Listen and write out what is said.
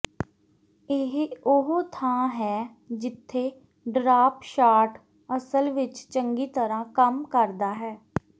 ਇਹ ਉਹ ਥਾਂ ਹੈ ਜਿੱਥੇ ਡਰਾਪ ਸ਼ਾਟ ਅਸਲ ਵਿੱਚ ਚੰਗੀ ਤਰ੍ਹਾਂ ਕੰਮ ਕਰਦਾ ਹੈ